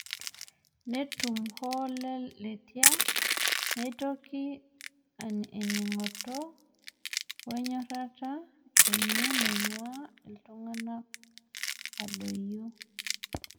Netumo ooh Letia neitoki ening'oto woe nyorata eny naing'ua ilntung'anak adoyio.